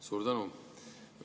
Suur tänu!